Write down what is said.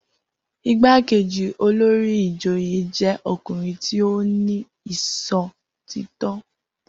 Igbákejì olórí ìjòyè jẹ́ ọkùnrin tí ó ní ìṣòtítọ́.